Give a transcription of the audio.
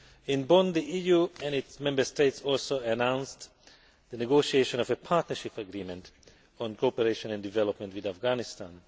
In Bonn the EU and its Member States also announced the negotiation of a partnership agreement on cooperation and development with Afghanistan.